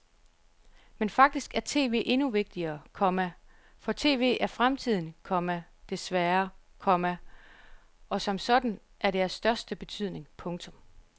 Men faktisk er tv endnu vigtigere, komma for tv er fremtiden, komma desværre, komma og som sådan er det af den største betydning. punktum